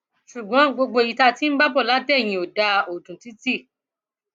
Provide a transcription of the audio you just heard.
ṣùgbọn gbogbo èyí tí a ti ń bá bọ láti eyín ò dáa ò dùn títì